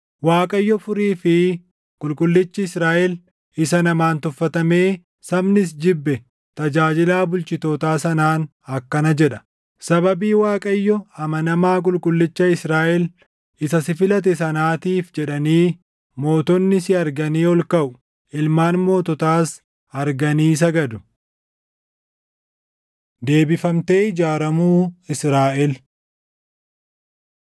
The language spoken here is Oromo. Waaqayyo Furii fi Qulqullichi Israaʼel, isa namaan tuffatamee sabnis jibbe, tajaajilaa bulchitootaa sanaan akkana jedha: “Sababii Waaqayyo amanamaa Qulqullicha Israaʼel isa si filate sanaatiif jedhanii mootonni si arganii ol kaʼu; ilmaan moototaas arganii sagadu.” Deebifamtee Ijaaramuu Israaʼel